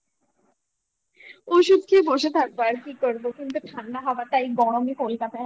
ওষুধ খেয়ে বসে থাকবো আর কি করবো কিন্তু ঠান্ডা হওয়াটা এই গরমে কলকাতায় আমি নিতে পারছি না